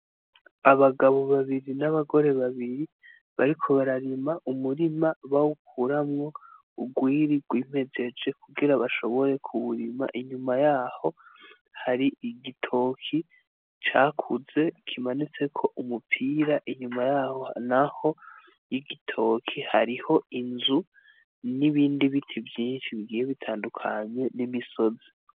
Abagabo babiri n'abagore babiri bariko bararima umurima bawukuramwo urwiri rwimejeje kugira bashobore kuwurima inyuma yaho hari igitoke cakuze kimanitseko umupira inyuma yaho naho igitoke hariho inzu n'ibindi biti vyinshi bigiye bitandukanye n'imisozi.